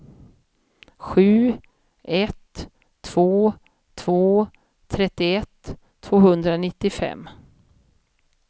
sju ett två två trettioett tvåhundranittiofem